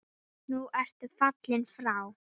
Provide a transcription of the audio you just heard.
Nú ertu fallinn frá.